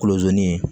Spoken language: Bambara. Kolozi